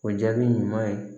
O jaabi ɲuman ye